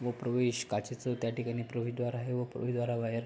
व प्रवेश काचेच त्याठिकाणी प्रवेशद्वार आहे व प्रवेशद्वारा बाहेर--